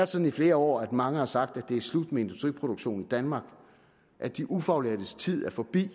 sådan i flere år at mange har sagt at det er slut med industriproduktion i danmark at de ufaglærtes tid er forbi